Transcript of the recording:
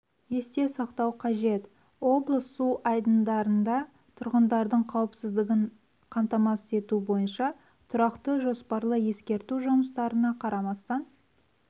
есте сақтау қажет облыс су айдындарында тұрғындардың қауіпсіздігін қамтамасыз ету бойынша тұрақты жоспарлы-ескерту жұмыстарына қарамастан